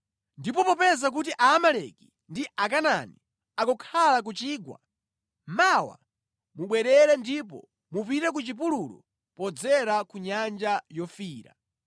Ndipo popeza kuti Aamaleki ndi Akanaani akukhala ku chigwa, mawa mubwerere ndipo mupite ku chipululu podzera ku Nyanja Yofiira.”